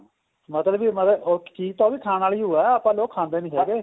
ਮਤਲਬ ਕਿ ਮਤਲਬ ਉਹ ਚੀਜ ਤਾਂ ਉਹ ਵੀ ਖਾਨ ਆਲੀ ਉਹ ਏ ਆਪਾਂ ਲੋਕ ਖਾਦੇ ਨਹੀਂ ਹੈਗੇ